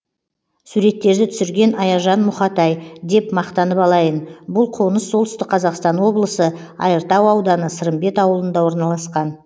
суреттерді түсірген аяжан мұхатай деп мақтанып алайын бұл қоныс солтүстік қазақстан облысы айыртау ауданы сырымбет ауылында орналасқан